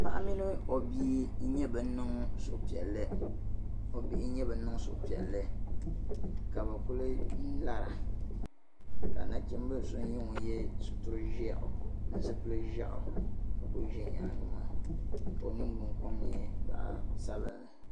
paɣa mini o bia n nyɛ ban niŋ suhupiɛli o bihi niŋ suhipiɛli ka bɛ kuli lara ka nachimbili so nyɛ ŋun ye suturi ʒeɣu ni zipili ʒeɣu ka kuli ʒi nyaagi maa ka o ningbun kom nyɛ zaɣi sabinli